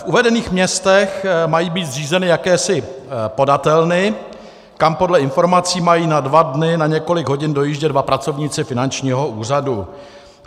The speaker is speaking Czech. V uvedených městech mají být zřízeny jakési podatelny, kam podle informací mají na dva dny, na několik hodin, dojíždět dva pracovníci finančního úřadu.